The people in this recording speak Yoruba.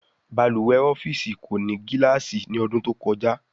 Balùwè ọ́fíìsì kò ní gilaasi ní odún to kojá